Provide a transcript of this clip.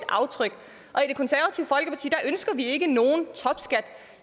aftryk og ønsker vi ikke nogen topskat